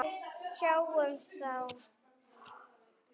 Við sjáumst þá!